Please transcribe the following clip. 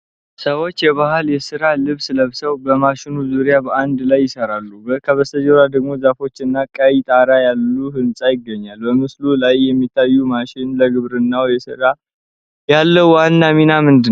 ሰዎቹ የባህላዊ የስራ ልብስ ለብሰው፣ በማሽኑ ዙሪያ በአንድ ላይ ይሰራሉ፤ ከበስተጀርባ ደግሞ ዛፎች እና ቀይ ጣራ ያለው ህንጻ ይገኛሉ። በምስሉ ላይ የሚታየው ማሽን ለግብርናው ሥራ ያለው ዋና ሚና ምንድን ነው?